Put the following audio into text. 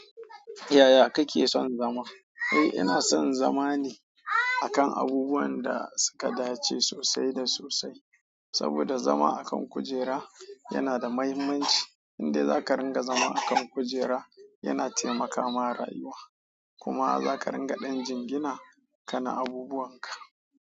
Yaya kake son zama? Eh ina son zama ne akan abubuwan da suka dace sosai da sosai. Saboda zama a kan kujera yana da muhimmanci, indai zaka zauna a kan kujera yana taimakawa rayuwa kuma zaka ringa ɗan jingina kana abubuwan ka.